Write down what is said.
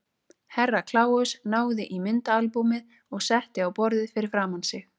Herra Kláus náði í myndaalbúmið og setti á borðið fyrir framan sig.